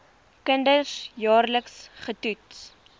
kinders jaarliks getoets